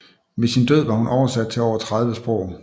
Ved sin død var hun oversat til over 30 sprog